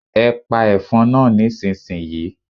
Ẹ pa ẹ̀fọn náà nísinsìnyí!